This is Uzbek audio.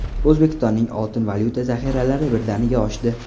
O‘zbekistonning oltin-valyuta zaxiralari birdaniga oshdi.